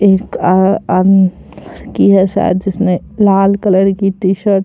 एक आ आदमी की है शायद जिसने लाल कलर की टी-शर्ट --